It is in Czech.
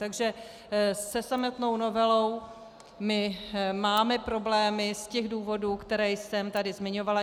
Takže se samotnou novelou my máme problémy z těch důvodů, které jsem tady zmiňovala.